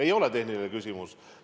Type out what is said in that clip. Ei ole tehniline küsimus.